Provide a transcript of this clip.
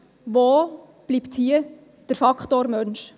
Wo bleibt hier der Faktor Mensch?